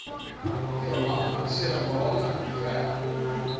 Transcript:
verlamming serebrale ver